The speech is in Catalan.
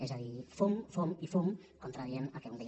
és a dir fum fum i fum contradient el que algú deia